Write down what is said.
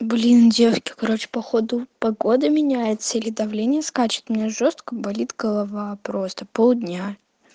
блин девки короче походу погода меняется или давление скачет у меня жёстко болит голова просто полдня